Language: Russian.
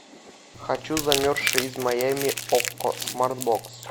хочу замерзшие из майами окко смарт бокс